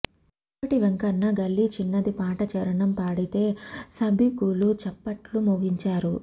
గోరటి వెంకన్న గల్లీ చిన్నది పాట చరణం పాడితే సభికులు చప్పట్లు మోగించారు